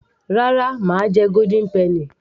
rárá mà á jẹ golden penny